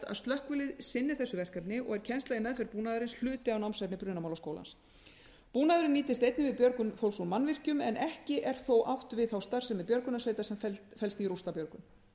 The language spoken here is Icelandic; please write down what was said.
slökkvilið sinni þessu verkefni og er kennsla í meðferð búnaðarins hluti af námsefni brunamálaskólans búnaðurinn nýtist einnig við björgun fólks úr mannvirkjum en ekki er þó átt við þá starfsemi björgunarsveita sem felst í rústabjörgun